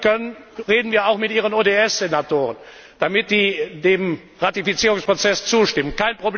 Wenn wir irgendwie können, reden wir auch mit Ihren ODS Senatoren, damit sie dem Ratifizierungsprozess zustimmen.